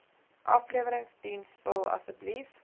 afleweringsdiens vul asseblief